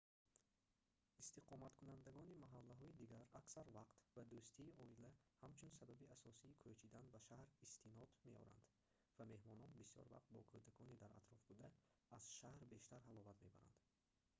истиқоматкунандагони маҳаллаҳои дигар аксар вақт ба дӯстии оила ҳамчун сабаби асосии кӯчидан ба шаҳр истинод меоранд ва меҳмонон бисёр вақт бо кӯдакони дар атроф буда аз шаҳр бештар ҳаловат мебаранд